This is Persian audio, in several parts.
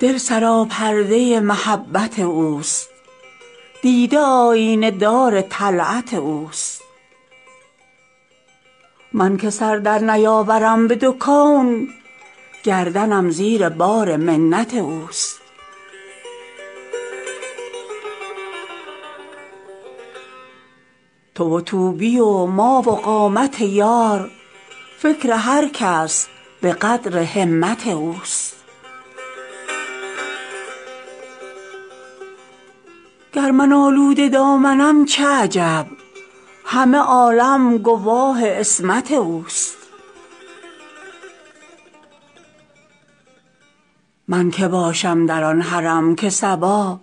دل سراپرده محبت اوست دیده آیینه دار طلعت اوست من که سر در نیاورم به دو کون گردنم زیر بار منت اوست تو و طوبی و ما و قامت یار فکر هر کس به قدر همت اوست گر من آلوده دامنم چه عجب همه عالم گواه عصمت اوست من که باشم در آن حرم که صبا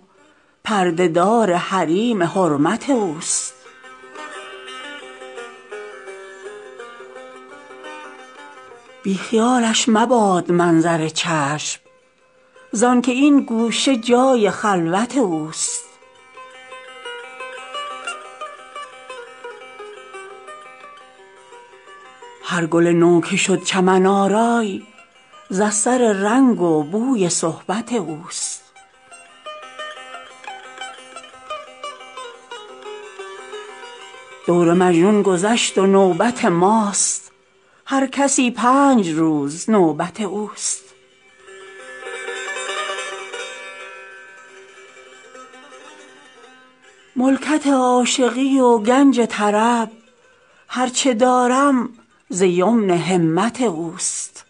پرده دار حریم حرمت اوست بی خیالش مباد منظر چشم زآن که این گوشه جای خلوت اوست هر گل نو که شد چمن آرای ز اثر رنگ و بوی صحبت اوست دور مجنون گذشت و نوبت ماست هر کسی پنج روز نوبت اوست ملکت عاشقی و گنج طرب هر چه دارم ز یمن همت اوست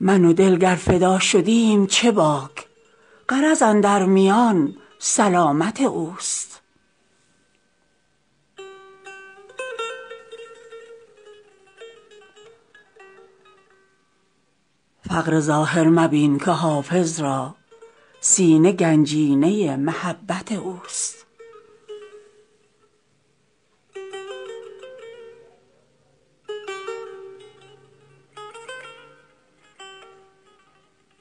من و دل گر فدا شدیم چه باک غرض اندر میان سلامت اوست فقر ظاهر مبین که حافظ را سینه گنجینه محبت اوست